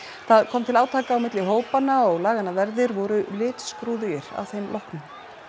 það kom til átaka milli hópanna og laganna verðir voru að þeim loknum